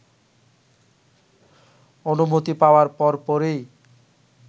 অনুমতি পাওয়ার পরপরই